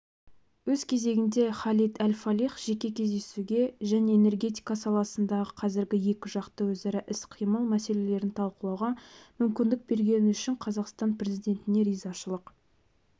өз кезегінде халид әл-фалих жеке кездесуге және энергетика саласындағы қазіргі екіжақты өзара іс-қимыл мәселелерін талқылауға мүмкіндік бергені үшін қазақстан президентіне ризашылық